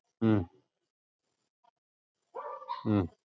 ഉം ഉം